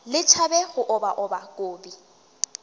le tšhabe go obaoba kobi